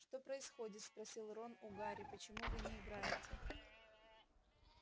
что происходит спросил рон у гарри почему вы не играете